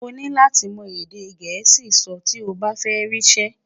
oní láti mọ èdè gèésì sọ ti ọ bá fẹ ri isẹ